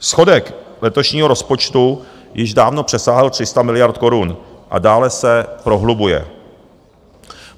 Schodek letošního rozpočtu již dávno přesáhl 300 miliard korun a dále se prohlubuje.